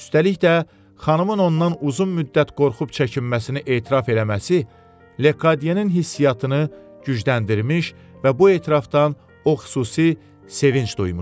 Üstəlik də xanımın ondan uzun müddət qorxub çəkinməsini etiraf eləməsi Lekadyenin hissiatını gücləndirmiş və bu etirafdan o xüsusi sevinc duymuşdu.